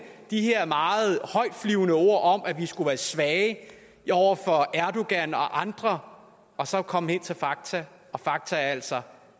de her meget højtflyvende ord om at vi skulle være svage over for erdogan og andre og så komme hen til fakta og fakta er altså